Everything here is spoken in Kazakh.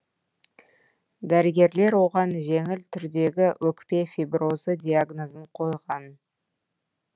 дәрігерлер оған жеңіл түрдегі өкпе фиброзы диагнозын қойған